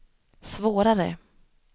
svårare